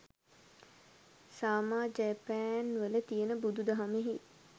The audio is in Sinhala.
සාමා ජෑපෑන්වල තියෙන බුදු දහමෙයි